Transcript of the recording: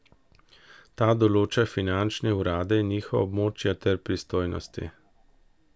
Ta določa finančne urade in njihova območja ter pristojnosti.